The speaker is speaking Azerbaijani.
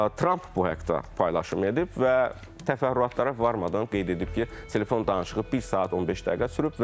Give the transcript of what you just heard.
Tramp bu haqda paylaşım edib və təfərrüatlara varmadan qeyd edib ki, telefon danışığı bir saat 15 dəqiqə sürüb.